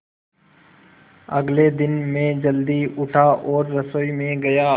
अगले दिन मैं जल्दी उठा और रसोई में गया